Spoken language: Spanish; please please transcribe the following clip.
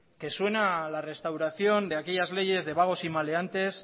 que suena a la restauración de aquellas leyes de vagos y maleantes